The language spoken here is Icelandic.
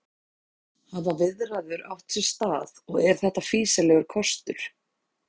Hafa viðræður átt sér stað og er þetta fýsilegur kostur?